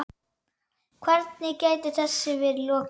Hvernig gæti þessu verið lokið?